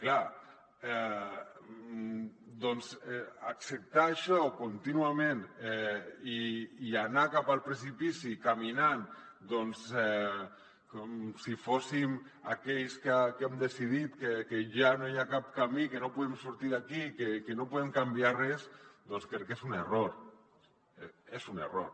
clar acceptar això contínuament i anar cap al precipici caminant com si fóssim aquells que hem decidit que ja no hi ha cap camí que no podem sortir d’aquí que no podem canviar res doncs crec que és un error és un error